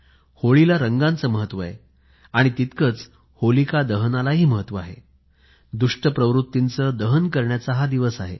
होळीला रंगाचे महत्व आहे तितकेच होलिका दह्नालाही महत्व आहे दुष्ट प्रवृतीचे दहन करण्याचा हा दिवस आहे